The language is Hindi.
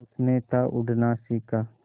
उसने था उड़ना सिखा